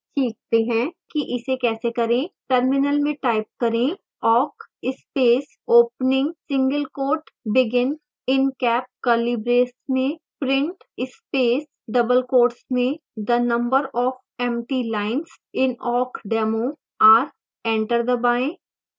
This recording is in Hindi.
सीखते हैं कि इसे कैसे करें